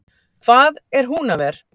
Hvað er Húnaver!